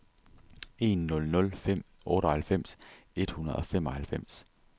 en nul nul fem otteoghalvfems et hundrede og femoghalvfems